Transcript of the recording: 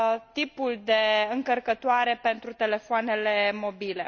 tipul de încărcătoare pentru telefoanele mobile.